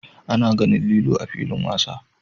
A na ganin lilo a'filin wasa.